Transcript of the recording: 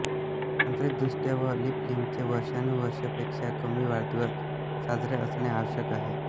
तांत्रिकदृष्ट्या एक लीपलिंगचे वर्षानुवर्षेपेक्षा कमी वाढदिवस साजरे असणे आवश्यक आहे